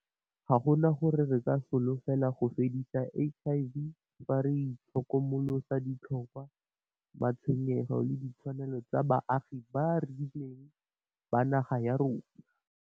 Ga gona gore re ka solofela go fedisa HIV fa re itlhokomolosa ditlhokwa, matshwenyego le ditshwanelo tsa baagi ba ba rileng ba naga ya rona.